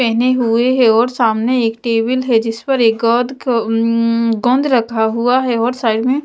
पहने हुए हैं और सामने एक टेबल है जिस पर एक गंध गंद रखा हुआ है और साइड में--